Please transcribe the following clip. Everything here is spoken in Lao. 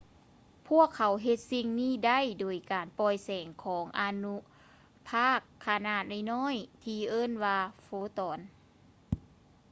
ພວກເຂົາເຮັດສິ່ງນີ້ໄດ້ ໂດຍການປ່ອຍແສງຂອງອະນຸພາກຂະໜາດນ້ອຍໆ ທີ່ເອີ້ນວ່າ ໂຟຕອນ